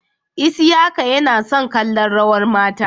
Isiaka Yana son kallon rawar mata.